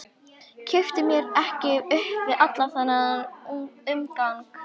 Kippti mér ekki upp við allan þennan umgang.